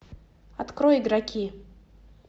открой игроки